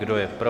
Kdo je pro?